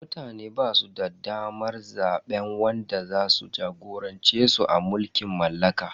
Mutane basu da damar zaben wanda zasu jagorance su a mulkin mallaka.